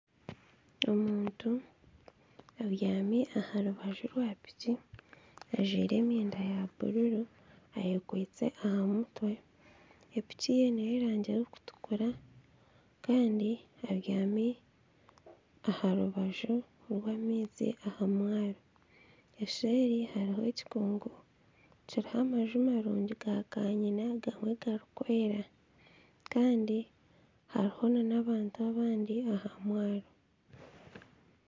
Omuntu abyami aha rubaju rwa piki ajwaire enyenda ya bururu, ayekwaitse aha mutwe. Epiki ye n'ey'erangi erikutukura kandi abyami aha rubaju rw'amaizi aha mwaro. Eseeri hariho ekikungu kiriho amaju marungi ga kanyina gamwe garikwera. Kandi hariho n'abantu abandi aha mwaro.